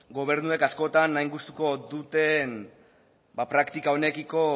gobernuek askotan hain gustuko duten praktika honekiko